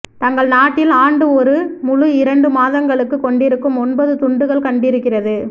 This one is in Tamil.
தங்கள் நாட்டில் ஆண்டு ஒரு முழு இரண்டு மாதங்களுக்கு கொண்டிருக்கும் ஒன்பது துண்டுகள் கண்டிருக்கிறது